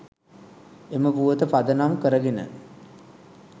එම පුවත පදනම් කරගෙන